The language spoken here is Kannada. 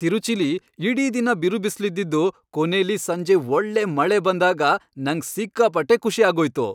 ತಿರುಚಿಲಿ ಇಡೀ ದಿನ ಬಿರುಬಿಸ್ಲಿದ್ದಿದ್ದು ಕೊನೆಲಿ ಸಂಜೆ ಒಳ್ಳೆ ಮಳೆ ಬಂದಾಗ ನಂಗ್ ಸಿಕ್ಕಾಪಟ್ಟೆ ಖುಷಿ ಆಗೋಯ್ತು.